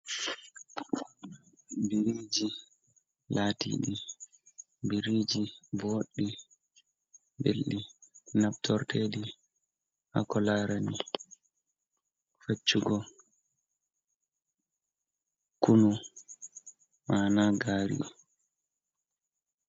Biriji latiɗi biriji boɗɗi belɗi nabtorteɗi hako larani faccugo kunu mana gari.